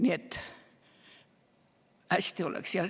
Nii et hästi oleks.